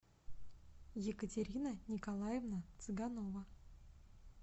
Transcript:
екатерина николаевна цыганова